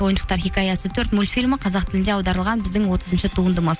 ойыншықтар хикаясы төрт мультфильмі қазақ тілінде аударылған біздің отызыншы туындымыз